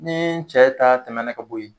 Nii cɛ ta tɛmɛna ka bo ye